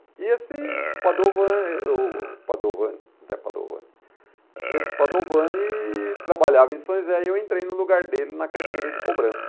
E esse Padovan eh o Padovani, Zé Padovani, esse Padovani trabalhava em São José e eu entrei no lugar dele na carteira de cobrança.